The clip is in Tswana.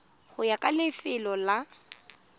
go ya ka lefelo la